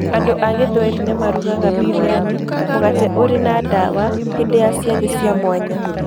Andũ a gĩthweri nĩ marugaga biryani, mũgate ũrĩ na ndawa, hĩndĩ ya ciathĩ cia mwanya.